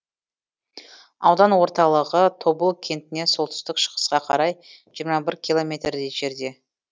аудан орталығы тобыл кентінен солтүстік шығысқа қарай жиырма бір километрдей жерде